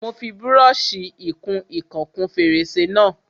Mo fi brọ́ṣì ìkun ìkan kún fèrèsé náà.